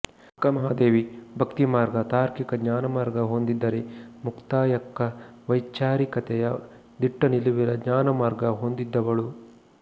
ಅಕ್ಕಮಹಾದೇವಿ ಭಕ್ತಿಮಾರ್ಗ ತಾರ್ಕಿಕ ಜ್ಞಾನಮಾರ್ಗ ಹೊಂದಿದರೆ ಮುಕ್ತಾಯಕ್ಕ ವೈಚಾರಿಕತೆಯ ದಿಟ್ಟನಿಲುವಿನ ಜ್ಞಾನಮಾರ್ಗ ಹೊಂದಿದವಳು